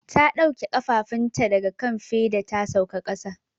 Ta dauke kafafunta daga kan feda ta sauka kasa.